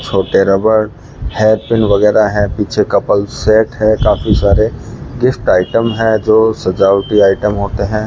छोटे रबड़ hair pin वगैरा है पीछे कपल्स सेट है काफी सारे गिफ्ट आइटम है जो सजावटी आइटम होते हैं।